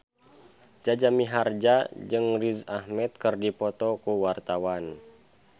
Jaja Mihardja jeung Riz Ahmed keur dipoto ku wartawan